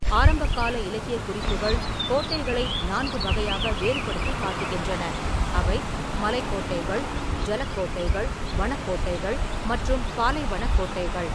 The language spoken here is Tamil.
ஆரம்பகால இலக்கியக் குறிப்புகள் கோட்டைகளை நான்கு வகையாக வேறுபடுத்திக் காட்டுகின்றன: அவை மலைக் கோட்டைகள், ஜலக் கோட்டைகள், வனக் கோட்டைகள் மற்றும் பாலைவனக் கோட்டைகள்.